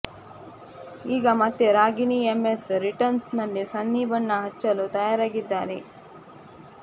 ಈಗ ಮತ್ತೆ Ragini MMS returns ನಲ್ಲಿ ಸನ್ನಿ ಬಣ್ಣ ಹಚ್ಚಲು ತಯಾರಾಗಿದ್ದಾರೆ